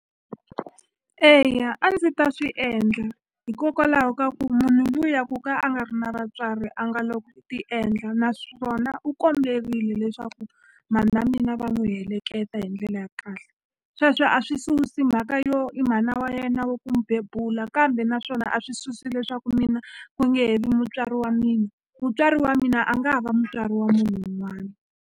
Eya a ndzi ta swi endla hikokwalaho ka ku munhu luya ku ka a nga ri na vatswari a nga lo ti endla naswona u komberile leswaku mhana mina va n'wi heleketa hi ndlela ya kahle sweswo a swi susi mhaka yo i mhana wa yena wa ku mu bebula kambe naswona a swi susi leswaku mina ku nge he vi mutswari wa mina mutswari wa mina a nga va mutswari wa munhu wun'wani.